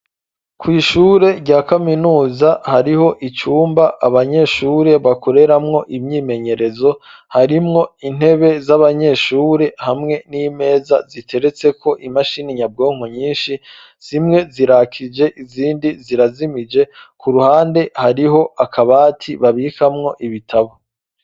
Kw'ishure rya kaminuza, hariho icumba abanyeshure bakoreramwo imyimenyerezo, harimwo intebe z'abanyeshure, hamwe n'imeza ziteretseko imashini nyabwonko nyinshi, zimwe zirakije, izindi zirazimije, ku ruhande hariho akabati babikamwo ibitabo.